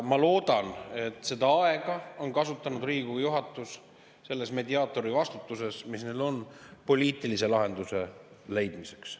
Ma loodan, et seda aega on Riigikogu juhatus selles mediaatori vastutuses, mis neil on, kasutanud poliitilise lahenduse leidmiseks.